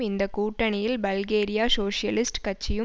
இந்த கூட்டணியில் பல்கேரிய சோசியலிஸ்ட் கட்சியும்